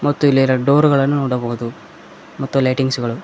ಮತ್ತು ಇಲ್ಲಿ ಎರಡು ಡೋರ್ ಗಳನ್ನು ನೋಡಬಹುದು ಮತ್ತು ಲೈಟಿಂಗ್ಸ್ ಗಳು--